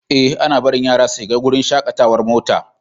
Ee, ana barin yara su shiga wurin shakatawar mota.